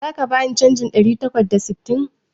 Zaka bani canjin ɗari takwas da sittin?